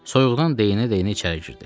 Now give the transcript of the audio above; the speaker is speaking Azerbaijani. Soyuqdan deyinə-deyinə içəri girdi.